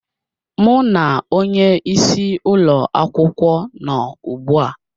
Mụ na onye isi ụlọ akwụkwọ nọ ugbu a